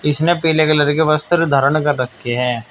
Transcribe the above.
इसने पीले कलर के वस्त्र धारण कर रखे हैं।